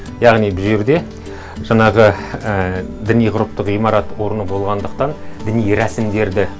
яғни бұл жерде жаңағы діни ғұрыптық ғимарат орны болғандықтан діни рәсімдерді